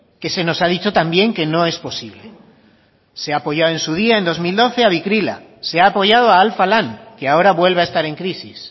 que se nos ha dicho también que no es posible se ha apoyado en su día en dos mil doce a bikila se ha apoyado a alfa lan que ahora vuelve a estar en crisis